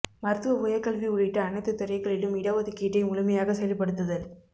மருத்துவ உயர்கல்வி உள்ளிட்ட அனைத்துத் துறை களிலும் இடஒதுக்கீட்டை முழுமையாக செயல்படுத்துதல்